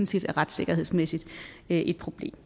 set retssikkerhedsmæssigt er et problem